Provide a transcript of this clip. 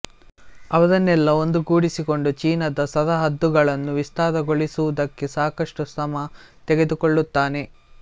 ಅವರನ್ನೆಲ್ಲ ಒಂದುಗೂಡಿಸಿಕೊಂಡು ಚೀನಾದ ಸರಹದ್ದುಗಳನ್ನು ವಿಸ್ತಾರಗೊಳಿಸುವುದಕ್ಕೆ ಸಾಕಷ್ಟು ಶ್ರಮ ತೆಗೆದುಕೊಳ್ಳುತ್ತಾನೆ